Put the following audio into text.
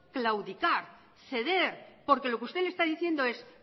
claudicar ceder porque lo que usted le está diciendo es